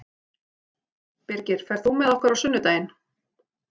Birgir, ferð þú með okkur á sunnudaginn?